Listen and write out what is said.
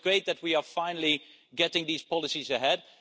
It's great that we are finally getting these policies ahead.